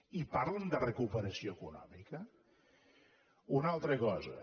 i parlen de recuperació econòmica una altra cosa